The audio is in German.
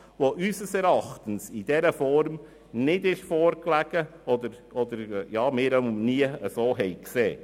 Diese lag unseres Erachtens in dieser Form nicht vor oder zumindest haben wir sie nie gesehen.